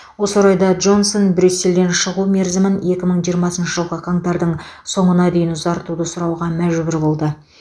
осы орайда джонсон брюссельден шығу мерзімін екі мың жиырмасыншы жылғы қаңтардың соңына дейін ұзартуды сұрауға мәжбүр болды